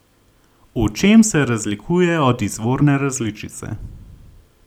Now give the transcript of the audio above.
V čem se razlikuje od izvorne različice?